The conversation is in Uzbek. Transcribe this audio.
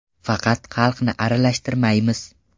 Faqat xalqni aralashtirmaymiz.